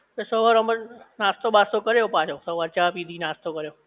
સવારે અમ નાસ્તો બસ્તો કર્યો પાછો સવારે ચા પીધી નાસ્તો કર્યો